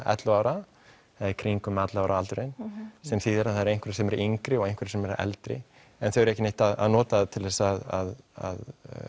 ellefu ára eða í kringum ellefu ára aldurinn sem þýðir að það eru einhverjir sem eru yngri og einhverjir eldri en þau eru ekki neitt að nota það til þess að